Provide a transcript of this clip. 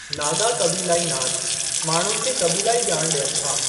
नागा क़बीलाई नाच माण्हुनि खे क़बीलाई ॼाण ॾियनि था।